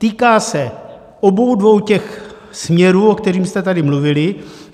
Týká se obou dvou těch směrů, o kterých jste tady mluvili.